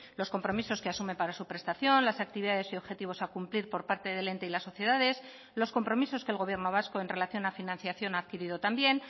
los compromisos que asume para su prestación las actividades y objetivos a cumplir por parte del ente y las sociedades los compromisos que el gobierno vasco en relación a financiación ha adquirido también